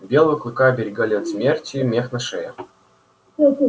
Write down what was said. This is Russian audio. белого клыка оберегали от смерти только широкие складки кожи и густой мех на шее